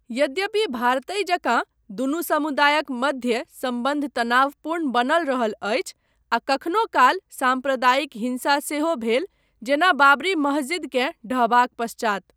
यद्यपि भारतहि जकाँ दुनू समुदायक मध्य सम्बन्ध तनावपूर्ण बनल रहल अछि आ कखनो काल साम्प्रदायिक हिंसा सेहो भेल जेना बाबरी महजिदकेँ ढहबाक पश्चात।